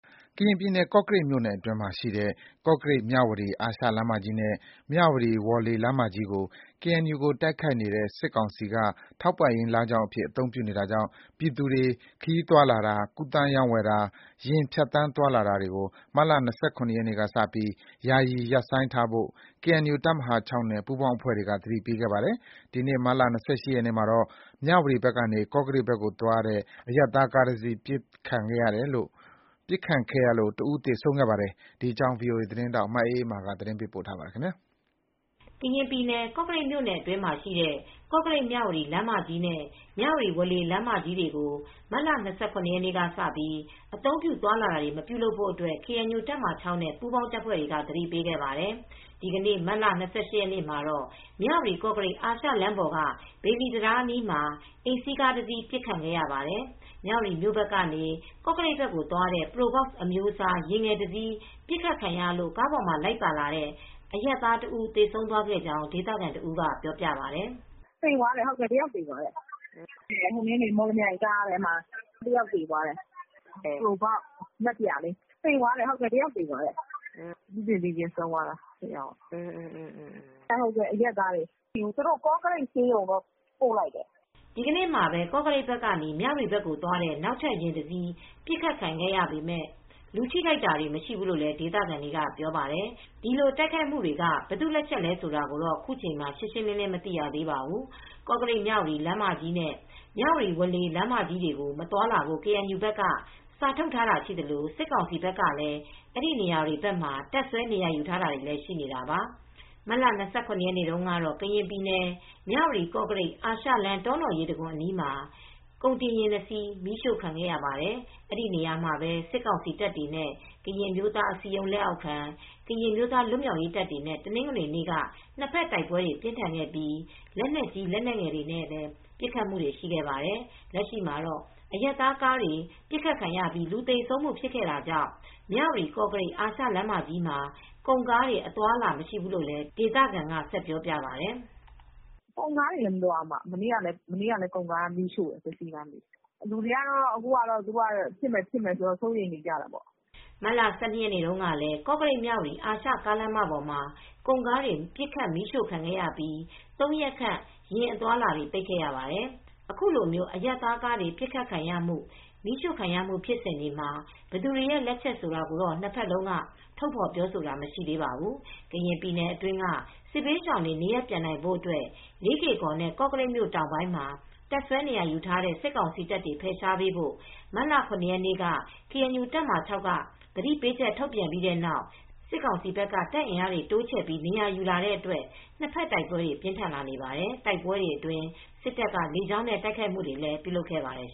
ကရင်ပြည်နယ် ကော့ကရိတ်မြိုနယ်အတွင်းမှာရှိတဲ့ ကော့ကရိတ်-မြဝတီ အာရှလမ်းမကြီးနဲ့ မြဝတီ-ဝေါ်လေ လမ်းမကြီးတွေကို KNU နဲ့တိုက်ခိုက်နေတဲ့စစ်ကောင်စီက ထောက်ပံ့ရေးလမ်းကြောင်းအဖြစ် အသုံးပြုနေတာကြောင့် ပြည်သူတွေ ခရီးသွားလာတာ၊ ကူသန်းရောင်းဝယ်တာ ယာဉ်ဖြတ်သန်းသွာလာတာကို မတ်လ ၂၇ နေ့ ကစပြီး ယာယီရပ်ဆိုင်းထားဖို့ KNU တပ်မဟာ (၆) နဲ့ ပူးပေါင်းအဖွဲ့တွေက သတိပေးခဲ့ပါတယ်။ ဒီနေ့ မတ်လ ၂၈ ရက်နေ့မှာတော့ မြဝတီဘက်ကနေ ကော့ကရိတ်ဘက်ကိုသွားတဲ့ အရပ်သားကားတစီး ပစ်ခတ်ခံရလို့ တဦး သေဆုံးခဲ့ပါတယ် ဒီသတင်းကို ဗွီအိုအေသတင်းထောက် မအေးအေးမာက သတင်းပေးပို့ထားပါတယ်။ ကရင်ပြည်နယ် ကော့ကရိတ်မြို့နယ်အတွင်းမှာရှိတဲ့ ကော့ကရိတ်-မြဝတီလမ်းမကြီးနဲ့ မြဝတီ-ဝေါ်လေလမ်းမကြီးတွေကို မတ်လ ၂၇ ရက်ကစပြီး အသုံးပြုသွားလာခြင်း မပြုပါနဲ့လို့ KNU တပ်မဟာ (၆) နဲ့ ပူးပေါင်းအဖွဲ့တွေက သတိပေးခဲ့ပါတယ်။ ဒီနေ့မတ်လ ၂၈ ရက်မှာတော့ မြဝတီ-ကော့ကရိတ် အာရှလမ်းပေါ်က ဘေလီတံတားအနီးမှာ အိမ်စီးကားတစီးပစ်ခံရပါတယ် မြဝတီဘက်ကနေ ကော့ကရိတ်ဘက်ကိုသွားတဲ့ Probox အမျိုးအစားယဉ်ငယ်တစီး ပစ်ခတ်ခံရလို့ ကားပေါ်မှာလိုက်ပါလာတဲ့ အရပ်သားတဦးသေဆုံးသွားခဲ့ကြောင်း ဒေသခံတဦးကပြောပြပါတယ်။ “သေသွားတယ်။ တယောက်ထိသွားတယ်။ မော်လမြိုင်ကားလို့ပြောတယ်။ ပရိုဘောက် က်-စ် ကား။ နက်ပြာလေးနဲ့ တယောက်သေသွားတယ်။ အရပ်သားပါ။ ကော့ကရိတ်ဆေးရုံကိုတော့ ပို့လိုက်တယ်။” ဒီနေ့မှာပဲ ကော့ကရိတ်ဘက်ကနေ မြဝတီဘက်ကိုသွားတဲ့ နောက်ထပ် ယာဉ်တစ်စီးပစ်ခတ်ခံရပေမယ့် လူထိခိုက်တာတော့ မရှိဘူးလို့ဒေသခံတွေကပြောပါတယ်။ ဒီတိုက်ခိုက်မှုတွေက ဘယ်သူ့လက်ချက်လဲဆိုတာ ခုချိန် မှာ ရှင်းရှင်း မသိရသေးပါဘူး။ ကော့ကရိတ်-မြဝတီ လမ်းမကြီးနဲ့ မြဝတီ-ဝေါ်လေလမ်းမကြီးတွေကို မသွားလာဖို့ ကေအန်ယူဘက်က စာထုတ် ထားတာရှိသလို စစ်ကောင်စီဘက်ကလည်း အဲဒီနေရာတွေဘက်မှာ တပ်စွဲနေရာယူထားတာရှိနေတာပါ။ မတ်လ ၂၇ ရက်နေ့တုန်းကတော့ ကရင်ပြည်နယ် မြဝတီ-ကော့ကရိတ် အာရှလမ်း တောနော်ရေတံခွန်နားမှာ ကုန်တင်ယာဉ် ၂ စီးမီးရှို့ခံရပါတယ်။ အဲဒီနေရာတွေမှာပဲ စစ်ကောင်စီတပ်တွေနဲ့ ကရင်အမျိုးသားအစည်းအရုံး လက်အောက်ခံ ကရင်အမျိုးသားလွတ်မြောက်ရေးတပ်တွေနဲ့ တနင်္ဂနွေနေ့က နှစ်ဘက်တိုက်ပွဲတွေ ပြင်းထန်ခဲ့ပြီး လက်နက်ကြီး လက်နက်ငယ်တွေနဲ့ ပစ်ခတ်ခဲ့ကြပါတယ်။ လက်ရှိမှာတော့ အရပ်သားကားတွေပစ်ခတ်ခံရပြီးလူသေဆုံးခဲ့တာကြောင့် မြဝတီ-ကော့ကရိတ် အာရှလမ်းမကြီးမှာ ကုန်ကားတွေ အသွားအလာမရှိဘူးလို့လည်း ဒေသခံက ဆက်ပြောပြပါတယ်။ “ကုန်ကားတွေလည်းမသွားဘူး။ မနေ့ကလည်း ကုန်ကားတွေမီးရှို့တယ်။ လူတွေက အခုကတော့ သူတို့က ပစ်မယ် ပစ်မယ်ပြောနေတော့ စိုးရိမ်နေကြတာပေါ့။” မတ်လ ၁၂ ရက်နေ့တုန်းကလည်း ကော့ကရိတ်-မြဝတီ အာရှကားလမ်းမပေါ်မှာ ကုန်ကားတွေ ပစ်ခတ်မီးရှို့ခံခဲ့ရပြီး ၃ ရက်ခန့် ယာဉ် အသွားအလာတွေပိတ်ခဲ့ရပါတယ်။ အခုလို အရပ်သားကားတွေ ပစ်ခတ်ခံရမှု၊ မီးရှို့ခံရမှု ဖြစ်စဉ်တွေမှာ ဘယ်သူတွေရဲ့လက်ချက်ဆိုတာကိုတော့ နှစ်ဘက်လုံးက ထုတ်ဖော်ပြောဆိုတာမရှိသေးပါဘူး။ ကရင်ပြည်နယ်အတွင်းက စစ်ဘေးရှောင်တွေနေရပ်ပြန်နိုင်ဖို့အတွက် လေးကေ့ကော်နဲ့ ကော့ကရိတ်မြို့တောင်ပိုင်းမှာ တပ်စွဲနေရာယူထားတဲ့ စစ်ကောင်စီတပ်တွေ ဖယ်ရှားပေးဖို့ မတ်လ ၇ ရက်နေ့က ကေအန်ယူ တပ်မဟာ (၆) က သတိပေးချက်ထုတ်ခဲ့ပြီးတဲ့နောက် စစ်ကောင်စီဘက်က တပ်အင်အားတွေတိုးချဲ့ပြီး နေရာယူလာတဲ့အတွက် နှစ်ဖက်တိုက်ပွဲတွေ ပြင်းထန်လာနေပါတယ်။ တိုက်ပွဲတွေအတွင်း စစ်တပ်က လေကြောင်းနဲ့ တိုက်ခိုက်မှုတွေကိုလည်ူး ပြုလုပ်ခဲ့ပါတယ်